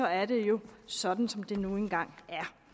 er det jo sådan som det nu engang